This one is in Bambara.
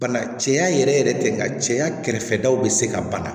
Bana cɛya yɛrɛ yɛrɛ tɛ nka cɛya kɛrɛfɛ daw bɛ se ka bana